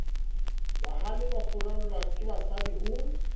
bahale ba furallwa kebasadi ho